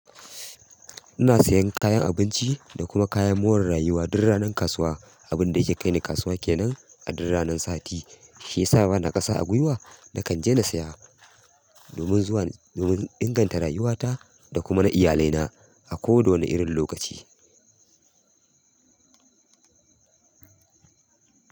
Ina sayan kayan abinci da kuma kayan more rayuwa dur ranar kasuwa. Abin da yake kai ni kasuwa kenan a duk ranan sati shi ya sa bana ƙasa a gwiwa. Nakan je na saya domin zuwan domin inganta rayuwata da kuma na iyalaina a kowa da wane irin lokaci.